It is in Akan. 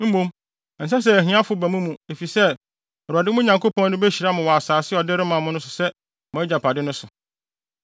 Mmom, ɛnsɛ sɛ ahiafo ba mo mu efisɛ, Awurade, mo Nyankopɔn no behyira mo wɔ asase a ɔde rema mo sɛ mo agyapade no so,